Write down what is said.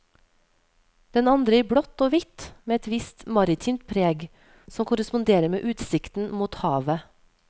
Den andre i blått og hvitt med et visst maritimt preg, som korresponderer med utsikten mot havet.